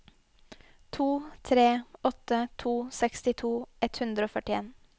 to tre åtte to sekstito ett hundre og førtien